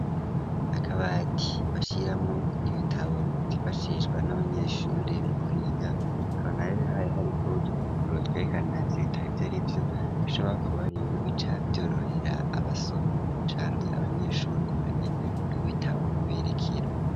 Akabati bashiramo ibitabo vyifashishwa n'abanyeshuri mu kwiga hakaba hari hariko udupapuro twinshi kanatsinda ibitabo vyose kuko bica vyorohera abasomyi canke abanyeshuri kumenya ib'ibitabo biberekera.